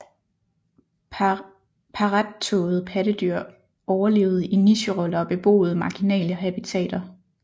Parrettåede pattedyr overlevede i nicheroller og beboede marginale habitater